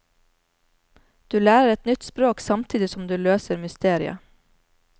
Du lærer et nytt språk samtidig som du løser mysteriet.